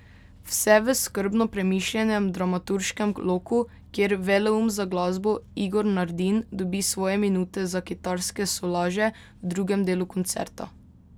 Vse v skrbno premišljenem dramaturškem loku, kjer veleum za glasbo Igor Nardin dobi svoje minute za kitarske solaže v drugem delu koncerta.